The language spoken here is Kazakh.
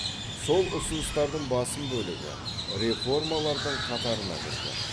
сол ұсыныстардың басым бөлігі реформалардың қатарына кірген